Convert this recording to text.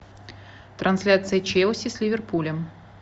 трансляция челси с ливерпулем